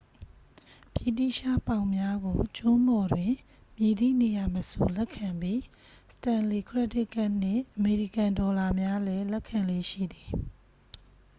ဗြိတိသျှပေါင်များကို ကျွန်းပေါ်တွင် မည်သည့်နေရာမဆိုလက်ခံပြီး စတန်လေ ခရက်ဒစ်ကတ်နှင့် အမေရိကန်ဒေါ်လာများလဲ လက်ခံလေ့ရှိသည်